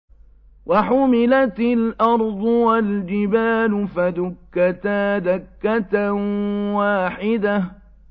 وَحُمِلَتِ الْأَرْضُ وَالْجِبَالُ فَدُكَّتَا دَكَّةً وَاحِدَةً